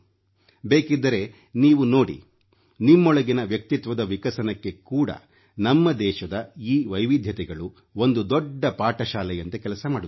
ಬೇಕಿದ್ದರೆ ನೀವು ನೋಡಿ ನಿಮ್ಮೊಳಗಿನ ವ್ಯಕ್ತಿತ್ವದ ವಿಕಸನಕ್ಕೆ ಕೂಡ ನಮ್ಮ ದೇಶದ ಈ ವೈವಿಧ್ಯತೆಗಳು ಒಂದು ದೊಡ್ಡ ಪಾಠಶಾಲೆಯಂತೆ ಕೆಲಸ ಮಾಡುತ್ತವೆ